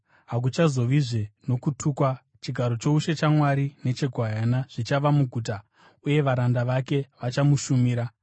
Hakuchazovazve nokutukwa. Chigaro choushe chaMwari necheGwayana zvichava muguta, uye varanda vake vachamushumira.